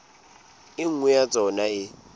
e nngwe ya tsona e